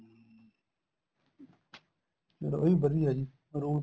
ਫੇਰ ਉਹ ਵੀ ਵਧੀਆ ਜੀ rule